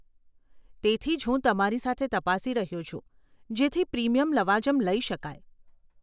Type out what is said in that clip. તેથી જ હું તમારી સાથે તપાસી રહ્યો છું જેથી પ્રીમિયમ લવાજમ લઇ શકાય.